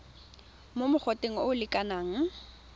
mo mogoteng o o lekanang